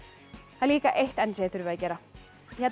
það er líka eitt enn sem þið þurfið að gera